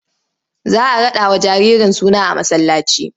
Za a raɗawa jaririn suna a masallaci.